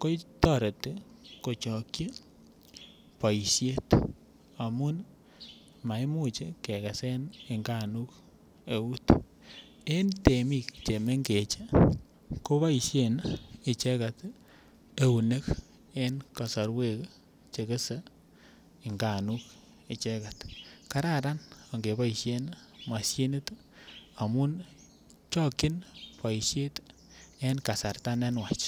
ko toreti kochokyi boishet amun maimuch ke gesen nganuk eut en temik che mengech koboishen icheget eunek en kosorwek che kegesee nganuk icheget kararan ngeboishen moshinit amun chokyin boishet en kasarta ne nwach